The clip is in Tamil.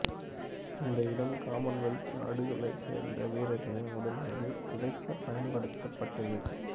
இந்த இடம் காமன்வெல்த் நாடுகளைச் சேர்ந்த வீரர்களின் உடல்களை புதைக்கப் பயன்படுத்தப்பட்டது